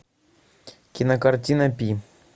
кинокартина пи